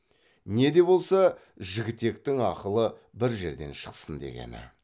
не де болса жігітектің ақылы бір жерден шықсын дегені